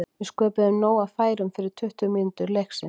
Við sköpuðum nóg af færum fyrstu tuttugu mínútur leiksins.